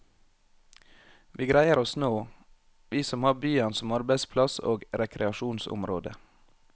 Vi greier oss nå, vi som har byen som arbeidsplass og rekreasjonsområde.